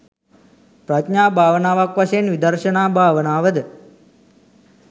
ප්‍රඥා භාවනාවක් වශයෙන් විදර්ශනා භාවනාව ද